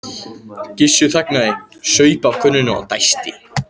Gissur þagnaði, saup af könnunni og dæsti.